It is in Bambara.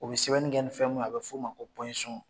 U bɛ sɛbɛnni fɛn min a bɛ f'o ma ko